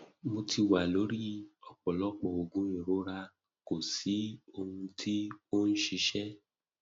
mo ti wà lórí ọpọlọpọ oògùn ìrora kò sì sí ohun tí ó ń ṣiṣẹ